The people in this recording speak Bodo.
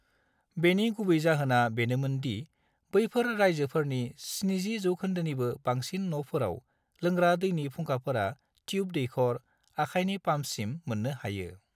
बेनि गुबै जाहोना बेनोमोन दि बैफोर रायजोफोरनि 70 जौखोन्दोनिबो बांसिन न'फोराव लोंग्रा दैनि फुंखाफोरा ट्युब दैखर/आखायनि पाम्पसिम मोननो हायो।